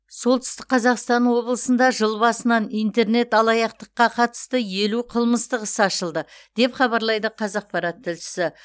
солтүстік қазақстан облысында жыл басынан интернет алаяқтыққа қатысты елу қымыстық іс ашылды деп хабарлайды қазақпарат тілшісі